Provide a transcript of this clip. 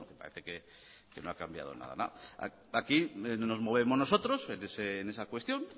parece que no ha cambiado nada aquí nos movemos nosotros en esa cuestión